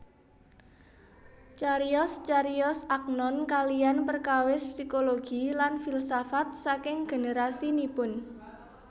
Cariyos cariyos Agnon kaliyan perkawis psikologi lan filsafat saking generasinipun